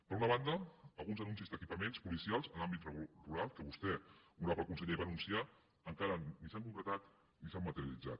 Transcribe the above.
per una banda alguns anuncis d’equipaments policials en l’àmbit rural que vostè honorable conseller va anunciar encara ni s’han concretat ni s’han materialitzat